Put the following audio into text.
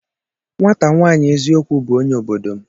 Nwata nwaanyi eziokwu bu onye obodo m.